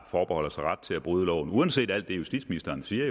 forbeholder sig ret til at bryde loven uanset alt det justitsministeren siger